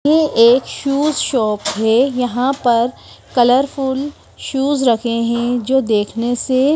ये एक shoes shop है यहां पर कलरफुल शूज रखे हैं जो देखने से--